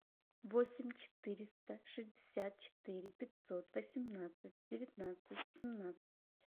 восемь четыреста шестьдесят четыре пятьсот восемнадцать девятнадцать семнадцать